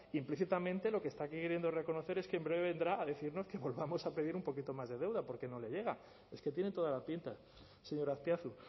implícitamente lo que está queriendo reconocer es que en breve vendrá a decirnos que volvamos a pedir un poquito más de deuda porque no le llega es que tiene toda la pinta señor azpiazu